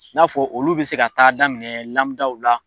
I n'a fɔ olu bi se ka taa daminɛ daw la